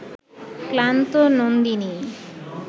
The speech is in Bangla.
ক্লান্ত নন্দিনী